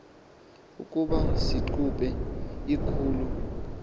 ukuba siqhube ikhulu